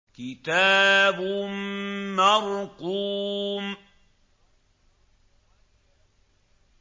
كِتَابٌ مَّرْقُومٌ